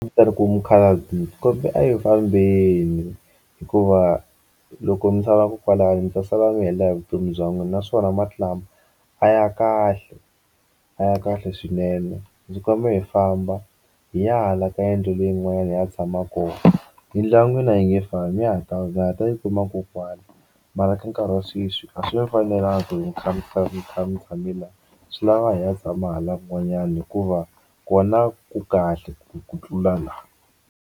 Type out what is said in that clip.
Ni ku mukhalabye a hi fambeni hikuva loko mi sala kwalano mi ta sala mi helela hi vutomi bya n'wina naswona mati lama a ya kahle a ya kahle swinene ndzi kombela hi famba hi ya hala ka yindlu leyin'wanyana hi ya tshama kona yindlu ya n'wina a yi nge fambi ya ha ta ma ha ta yi kuma kona kwala mara ka nkarhi wa sweswi a swi mi fanelanga mi kha mi kha mi kha mi tshame la swi lava hi ya tshama hala kun'wanyana hikuva kona ku kahle ku tlula la.